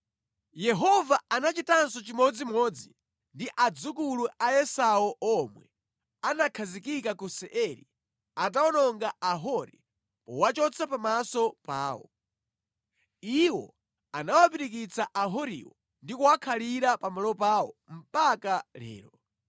Yehova anachitanso chimodzimodzi ndi adzukulu a Esau omwe anakhazikika ku Seiri atawononga Ahori powachotsa pamaso pawo. Iwo anawapirikitsa Ahoriwo ndi kuwakhalira pamalo pawo mpaka lero.